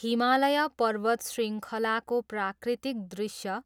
हिमालय पर्वत शृङ्खलाको प्राकृतिक दृश्य